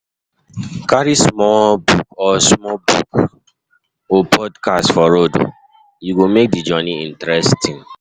Carry small book or small book or podcast for road, e go make the journey interesting.